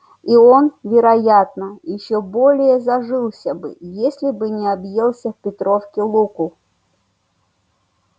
и он вероятно ещё более зажился бы если бы не объелся в петровки луку